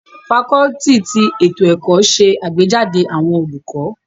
Fakọluti ti eto ẹkọ ṣe agbejade awọn olukọ